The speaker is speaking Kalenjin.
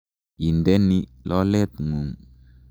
Inde ni lolet ng'ung'.